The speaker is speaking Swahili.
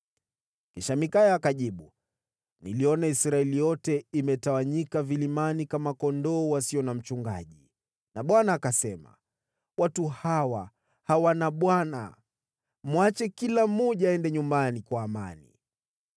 Ndipo Mikaya akajibu, “Niliona Israeli wote wametawanyika vilimani kama kondoo wasio na mchungaji, naye Bwana akasema, ‘Watu hawa hawana bwana. Mwache kila mmoja aende nyumbani kwa amani.’ ”